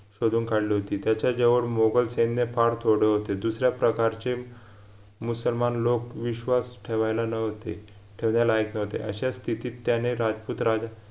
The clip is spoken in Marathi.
शोधून काढली होती त्याच्या जीवावर मोगल सैन्य फार थोडे होते दुसऱ्या प्रकारचे मुसलमान लोक विश्वास ठेवायला लव्हते ठेवण्या लायक नव्हते अशा स्थितीत त्याने राजपूत राजा